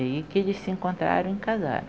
E aí que eles se encontraram e casaram.